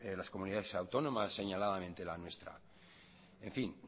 las comunidades autónomas señaladamente la nuestra en fin